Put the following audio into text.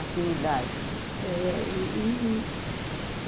Afinidade, né. É, e e